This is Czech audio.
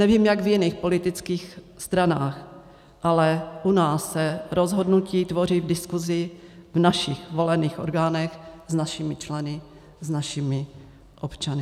Nevím, jak v jiných politických stranách, ale u nás se rozhodnutí tvoří v diskusi v našich volených orgánech, s našimi členy, s našimi občany.